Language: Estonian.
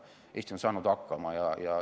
Eesti on saanud hakkama.